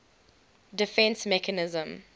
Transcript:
defence mechanism